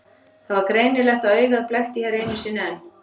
Það var greinilegt að augað blekkti hér einu sinni enn.